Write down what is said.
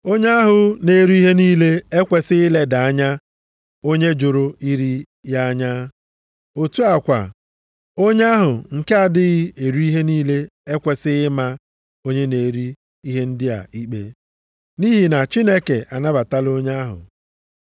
Onye ahụ na-eri ihe niile e kwesighị ileda onye jụrụ iri ya anya. Otu a kwa, onye ahụ nke nʼadịghị eri ihe niile ekwesighị ịma onye na-eri ihe ndị a ikpe. Nʼihi na Chineke anabatala onye ahụ.